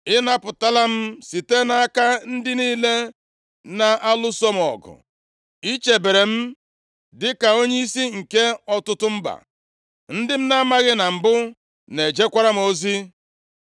“Ị napụtala m site nʼaka ndị niile na-alụso m ọgụ. Ị chebere m dịka onyeisi nke ọtụtụ mba. Ndị m na-amaghị na mbụ na-ejekwara m ozi.